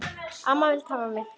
Amma vildi hafa mig.